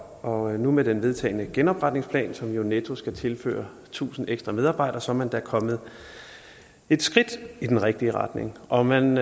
og nu med den vedtagne genopretningsplan som jo netto skal tilføre tusind ekstra medarbejdere så er man da kommet et skridt i den rigtige retning og man